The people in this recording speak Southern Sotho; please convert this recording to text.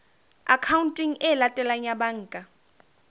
akhaonteng e latelang ya banka